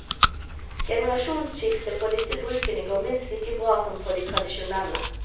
Generasjonsskifte på disse brukene går minst like bra som på de tradisjonelle.